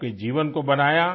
आपके जीवन को बनाया